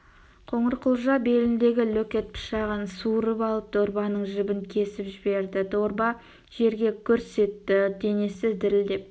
қоңырқұлжа беліндегі лөкет пышағын суырып алып дорбаның жібін кесіп жіберді дорба жерге гүрс етті денесі дірілдеп